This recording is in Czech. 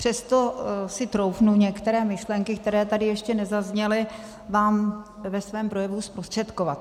Přesto si troufnu některé myšlenky, které tady ještě nezazněly, vám ve svém projevu zprostředkovat.